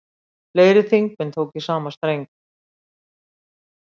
Fleiri þingmenn tóku í sama streng